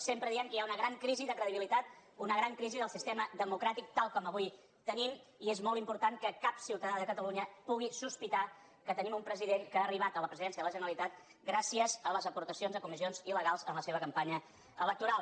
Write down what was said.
sempre diem que hi ha una gran crisi de credibilitat una gran crisi del sistema democràtic tal com avui el tenim i és molt important que cap ciutadà de catalunya pugui sospitar que tenim un president que ha arribat a la pre·sidència de la generalitat gràcies a les aportacions a comissions il·legals en la seva campanya electoral